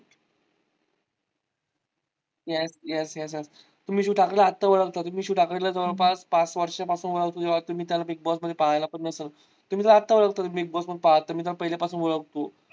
yes yes yes yes तुम्ही शिव ठाकरे ला आता ओळखता मी शिव ठाकरेला जवळपास पाच वर्षा पासून ओळखतो तेंव्हा तुम्ही त्याला big boss मध्ये पाहिला पण नसेल. तुम्ही तर आता ओळखता big boss मध्ये मी तर पहिल्या पासून ओळखतो.